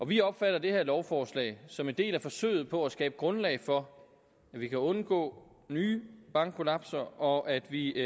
vi opfatter det her lovforslag som en del af forsøget på at skabe grundlag for at vi kan undgå nye bankkollapser og at vi